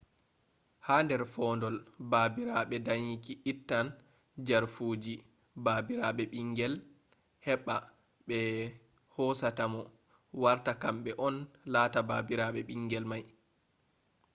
ha nder fadol baabiraɓe dayinki ittan jarfuji baabiraɓe ɓingel heɓɓa ɓe hosata mo warta kamɓe on lata baabiraɓe ɓingel may